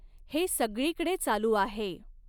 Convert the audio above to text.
हे सगळीकडे चालू आहे.